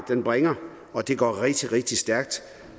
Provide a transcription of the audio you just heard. bringer og det går rigtig rigtig stærkt